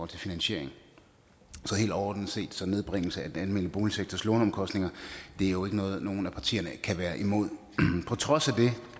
til finansiering så helt overordnet set er nedbringelse af den almene boligsektors låneomkostninger jo ikke noget som nogen af partierne kan være imod på trods af det